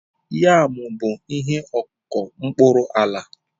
Yam bụ ihe ọkụkụ n'okpuru ala